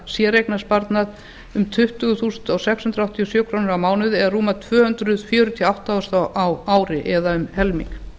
séreignarsparnað um tuttugu þúsund sex hundruð áttatíu og sjö krónur á mánuði eða rúmar tvö hundruð fjörutíu og átta þúsund á ári eða um helming